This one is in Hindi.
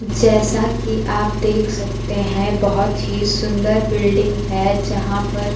जैसा कि आप देख सकते हैं बहुत ही सुंदर बिल्डिंग है यहां पर--